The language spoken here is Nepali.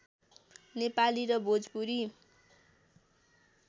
नेपाली र भोजपुरी